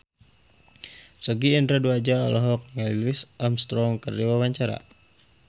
Sogi Indra Duaja olohok ningali Louis Armstrong keur diwawancara